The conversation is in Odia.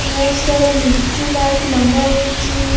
ବହୁତ୍ ସାରା ଲିଚୁ ଲାଇଟ୍ ଲଗା ହେଇଛି ।